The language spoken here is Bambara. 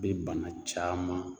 Bɛ bana caman